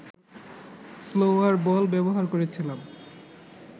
slower ball ব্যবহার করেছিলাম